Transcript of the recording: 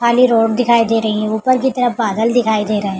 खाली रोड दिखाई दे रही है ऊपर की तरफ बादल दिखाई दे रहे है।